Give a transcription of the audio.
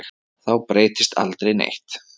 Þá breytist aldrei neitt.